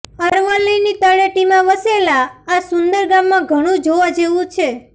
અરવલ્લીની તળેટીમાં વસેલા આ સુંદર ગામમાં ઘણું જોવાજેવું છે